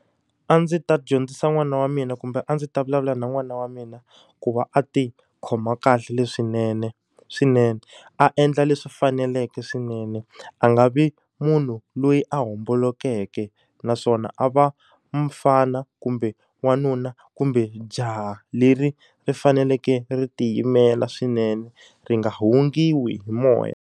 A ndzi ta dyondzisa n'wana wa mina kumbe a ndzi ta vulavula na n'wana wa mina, ku va a ti khoma kahle leswinene swinene. A endla leswi faneleke swinene, a nga vi munhu loyi a hombolokeke. Naswona a va mufana kumbe n'wanuna kumbe jaha leri ri faneleke ri tiyimela swinene, ri nga hungutiwa hi moya.